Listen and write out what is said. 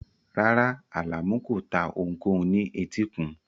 Rárá, Alamu kò ta ohunkóhun ní etíkun